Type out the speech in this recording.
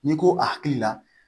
N'i ko akili la